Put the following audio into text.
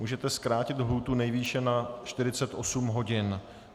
Můžete zkrátit lhůtu nejvýše na 48 hodin.